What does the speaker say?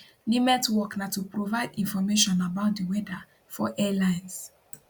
nimet work na to provide information about di weather for airlines